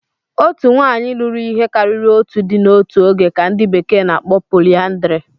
Otu nwanyị lụrụ ihe karịrị otu di n'otu oge ka ndi bekee n'akpo polyandry